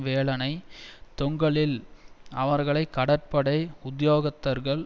வேலனைத் தொங்கலில் அவர்களை கடற்படை உத்தியோகத்தர்கள்